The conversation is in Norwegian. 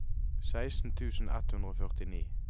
seksten tusen ett hundre og førtini